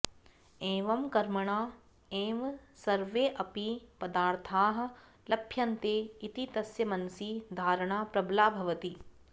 एवं कर्मणा एव सर्वेऽपि पदार्थाः लभ्यन्ते इति तस्य मनसि धारणा प्रबला भवति